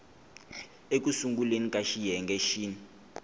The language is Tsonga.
eku sunguleni ka xiyenge xin